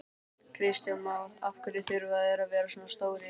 Kristján Már: Af hverju þurfa þeir að vera svona stórir?